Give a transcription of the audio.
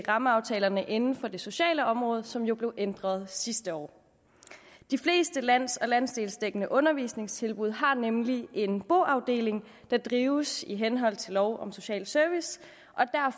rammeaftalerne inden for det sociale område som jo blev ændret sidste år de fleste lands og landsdelsdækkende undervisningstilbud har nemlig en boafdeling der drives i henhold til lov om social service